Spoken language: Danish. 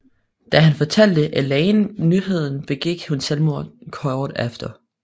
Da han fortalte Elaine nyheden begik hun selvmord kort efter